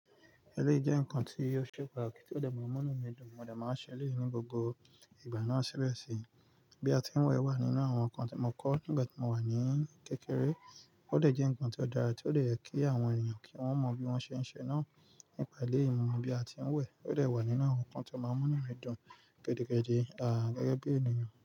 Ẹléyi jẹ́ ǹkan tí ó ṣe pàtàkì tí ó dẹ̀ máa ń múnú mi dùn, mo dẹ̀ máa ń ṣe eléyìí ní gbogbo ìgbà náà síbẹ̀ sì. Bí a ti ń wẹ̀ wà nínú àwọn ǹkan tí mo kọ́ nígbà tí mo wà ní kékeré, ó dẹ̀ jẹ́ ǹkan tí ó dára, tí ó dè je kí àwọn ènìyàn kí wọ́n mọ bí wọ́n ṣe ń ṣe náà nípa eléyìí. Mo mọ̀ bí a ti ń wẹ̀ ó dẹ̀ wà nínú àwọn ǹkan tí ó máa ń múnú mi dùn gidigidi. Gẹ́gẹ́ bí ènìyàn.